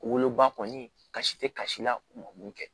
Woloba kɔni kasi tɛ kasi la u ma mun kɛ